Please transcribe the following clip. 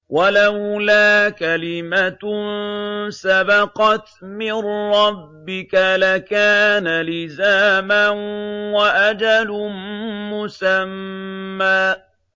وَلَوْلَا كَلِمَةٌ سَبَقَتْ مِن رَّبِّكَ لَكَانَ لِزَامًا وَأَجَلٌ مُّسَمًّى